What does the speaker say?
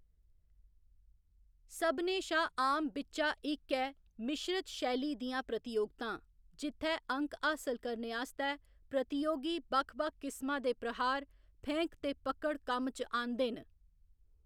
सभनें शा आम बिच्चा इक ऐ मिश्रत शैली दियां प्रतियोगितां, जित्थै अंक हासल करने आस्तै प्रतियोगी बक्ख बक्ख किसमा दे प्रहार, फेंक ते पकड़ कम्म च आह्‌‌‌नदे न।